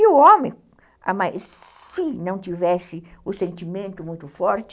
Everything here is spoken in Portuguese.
E o homem, se não tivesse o sentimento muito forte,